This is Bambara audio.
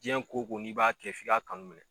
Diɲɛn ko ko n'i b'a kɛ f'i ka kanu minɛ